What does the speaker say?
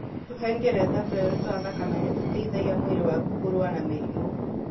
Tũhengereta tũerũ twa thakame nĩ tũteithagia mwĩrĩ waku kũrũa na mĩrimũ.